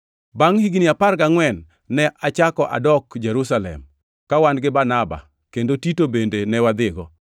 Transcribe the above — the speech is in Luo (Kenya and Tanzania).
Bangʼ higni apar gangʼwen ne achako adok Jerusalem, ka wan gi Barnaba kendo Tito bende ne wadhigo.